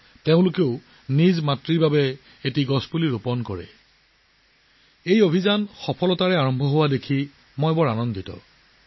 আৰু মই দেখি অতি সুখী যে মাতৃৰ স্মৃতিত গছ ৰোপণৰ অভিযান বা সন্মানেৰে ৰোপণ কৰাটো দ্ৰুতগতিত আগবাঢ়িছে